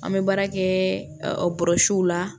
An bɛ baara kɛ bɔrɔsiw la